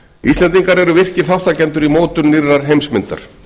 íslendingar eru virkir þátttakendur í mótun nýrrar heimsmyndar